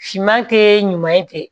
Finman tɛ ɲuman ye